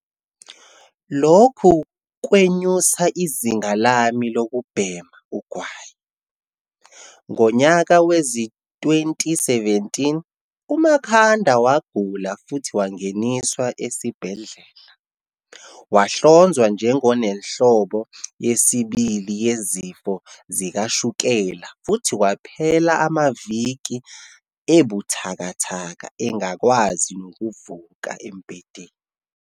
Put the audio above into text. "Lokhu kwenyusa izinga lami lokubhema ugwayi." Ngonyaka wezi-2017, uMakhanda wagula futhi wangeniswa esibhedlela. Wahlonzwa nje ngonenhlobo yesibili yezifo zikashukela futhi kwaphela amaviki ebuthakathaka engakwazi nokuvuka embhedeni.